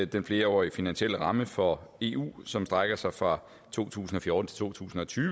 den flerårige finansielle ramme for eu som strækker sig fra to tusind og fjorten til to tusind og tyve